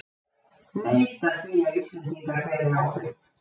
Neita því að Íslendingar beri ábyrgð